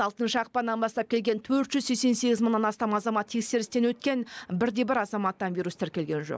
алтыншы ақпаннан бастап келген төрт жүз сексен сегіз мыңнан астам азамат тексерістен өткен бір де бір азаматтан вирус тіркелген жоқ